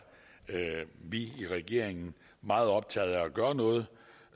vi i regeringen meget optaget af at gøre noget